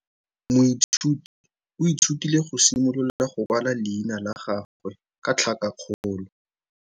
Moithuti o ithutile go simolola go kwala leina la gagwe ka tlhakakgolo.